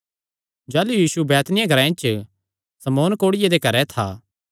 जाह़लू यीशु बैतनिय्याह ग्रांऐ च शमौन कोढ़िये दे घरैं था